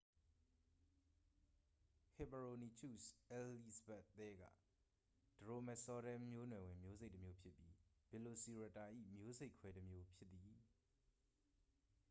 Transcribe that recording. ဟစ်ပါရိုနီချုစ် အယ်လိဇဘတ်သဲက ဒရိုမဲဆော်ဒဲ မျိုးနွယ်ဝင် မျိုးစိတ်တစ်မျိုးဖြစ်ပြီး ဗီလိုစီရပ်တာ၏ မျိုးစိတ်ခွဲတစ်မျိုး ဖြစ်သည်